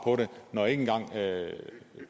når ikke engang